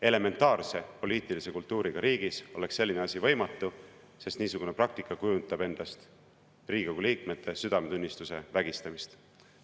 Elementaarse poliitilise kultuuriga riigis oleks selline asi võimatu, sest niisugune praktika kujutab endast Riigikogu liikmete südametunnistuse vägistamist.